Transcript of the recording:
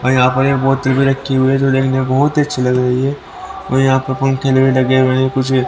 और यहां पे एक बोतल भी रखी हुई है जो देखने में बहुत ही अच्छी लग रही है और यहां पर पंखे भी लगे हुए हैं कुछ भी--